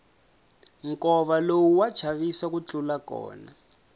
nkova lowu wa chavisa ku tlula kona